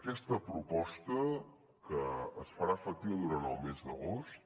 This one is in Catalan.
aquesta proposta que es farà efectiva durant el mes d’agost